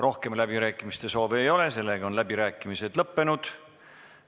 Rohkem läbirääkimiste soovi ei ole ja läbirääkimised on lõppenud.